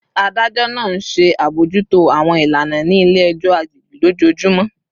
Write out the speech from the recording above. Adajọ naa nṣe abojuto awọn ilana ni ile-ẹjọ agbegbe lojoojumọ